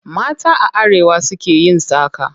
Mata a arewa su ke yin saƙa.